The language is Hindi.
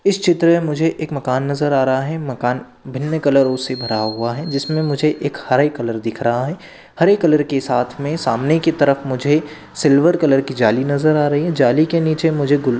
इस चित्र मे मुझे एक मकान नजर आ रहा है मकान भिन्न कलरोसे भरा हुआ है जिसमे मुझे एक हरे कलर दिख रहा है हरे कलर के साथ मे सामने के तरफ मुझे सिल्वर कलर की जाली नज़र आ रही है जाली के नीचे मुझे गुल--